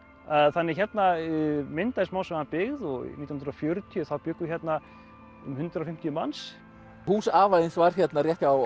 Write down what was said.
þannig að hérna myndaðist smám saman byggð og nítján hundruð og fjörutíu þá bjuggu hérna um hundrað og fimmtíu manns hús afa þíns var hérna rétt hjá